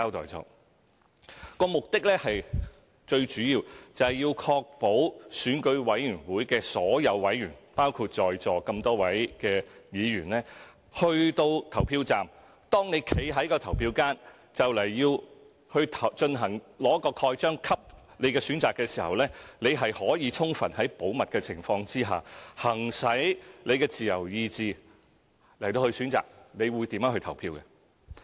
保密措施的目的最主要是確保選舉委員會委員——包括在座各位議員——到了投票站，在投票間用印章蓋下自己的選擇時，可以在充分保密的情況下，行使個人的自由意志作出選擇和投票。